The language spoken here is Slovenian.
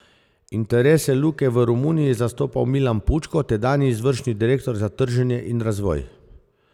Interese Luke je v Romuniji zastopal Milan Pučko, tedanji izvršni direktor za trženje in razvoj.